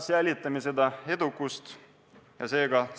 Hoiame seda edukust!